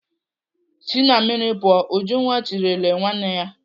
"Si na mmiri pụọ!" Ujunwa tirile nwanne ya.